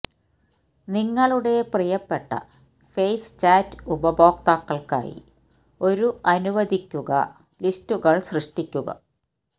നിങ്ങളുടെ പ്രിയപ്പെട്ട face chat ഉപയോക്താക്കൾക്കായി ഒരു അനുവദിക്കുക ലിസ്റ്റുകൾ സൃഷ്ടിക്കുക